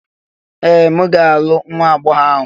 Ee! M ga-alụ nwa agbọghọ ahụ